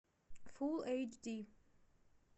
фулл эйч ди